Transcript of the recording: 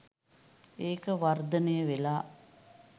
ඒක වර්ධනය වෙලා